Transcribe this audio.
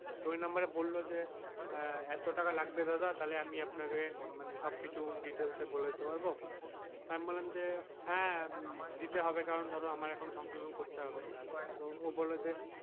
তো ওই নম্বর এ বললো যে আহ এত টাকা লাগবে দাদা তাহলে আমি আপনাকে মানে সব কিছু details এ বলে দিতে পারবো তা আমি বলাম যে হ্যাঁ দিতে হৰে কারণ ধরো আমার এখন সংশোধন করতে হবে তো ও বলল যে,